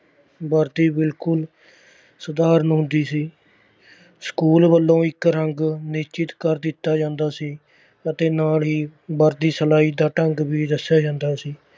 ਵਰਦੀ ਬਿਲਕੁਲ ਸਧਾਰਨ ਹੁੰਦੀ ਸੀ ਸਕੂਲ ਵੱਲੋਂ ਇੱਕ ਰੰਗ ਨਿਸ਼ਚਿਤ ਕਰ ਦਿੱਤਾ ਜਾਂਦਾ ਸੀ ਅਤੇ ਨਾਲ ਹੀ ਵਰਦੀ ਸਿਲਾਈ ਦਾ ਢੰਗ ਵੀ ਦੱਸਿਆ ਜਾਂਦਾ ਸੀ।